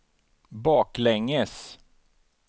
baklänges